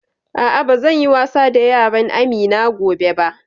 A'a, ba zan yi da yaran Amina gobe ba